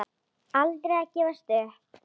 Aldrei að gefast upp.